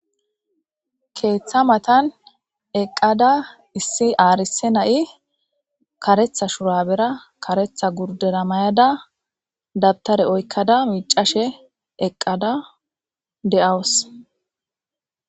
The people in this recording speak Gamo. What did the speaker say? Keeththa matan eqqada issi aarise na7i karetha shurabera karetha gurdera mayada dabtare oykkada miicashe eqqada de7awus